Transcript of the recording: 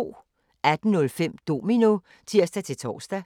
18:05: Domino (tir-tor)